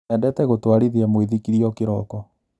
Endete gũtwarithia mũithikiri o kĩroko.